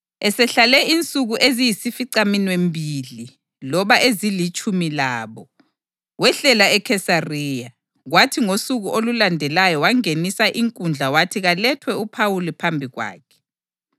Esehlale insuku eziyisificaminwembili loba ezilitshumi labo, wehlela eKhesariya, kwathi ngosuku olulandelayo wangenisa inkundla wathi kalethwe uPhawuli phambi kwakhe.